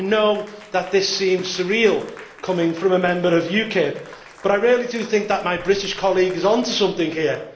I know that this seems surreal coming from a member of UKIP, but I really do think that my British colleague is on to something here.